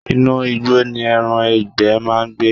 Inú igbó ni ẹran ìgbẹ́ máa ń gbé.